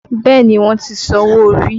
Bẹẹ ni, wọ́n ti san owó orí